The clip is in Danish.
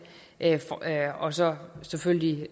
og så selvfølgelig